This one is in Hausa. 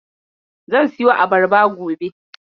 Zan siyo abarba gobe.